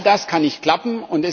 All das kann nicht klappen.